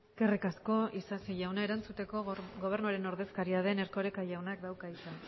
eskerrik asko isasi jauna erantzuteko gobernuaren ordezkaria den erkoreka jaunak dauka hitza